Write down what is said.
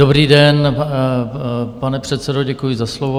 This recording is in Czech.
Dobrý den, pane předsedo, děkuji za slovo.